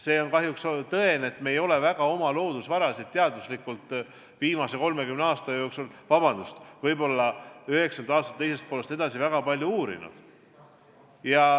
See on kahjuks tõde, et me ei ole väga oma loodusvarasid teaduslikult viimase 30 aasta jooksul või, vabandust, peale 1990. aastate teist poolt väga palju uurinud.